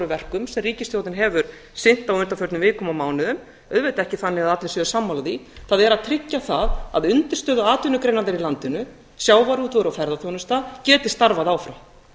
verkum sem ríkisstjórnin hefur sinnt á undanförnum vikum og mánuðum auðvitað ekki þannig að allir séu sammála því það er að tryggja það að undirstöðuatvinnugreinarnar í landinu sjávarútvegur og ferðaþjónusta geti starfað áfram